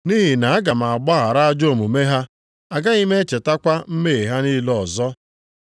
Nʼihi na aga m agbaghara ajọ omume ha, agaghị m echetakwa mmehie ha niile ọzọ.” + 8:12 \+xt Jer 31:31-34\+xt*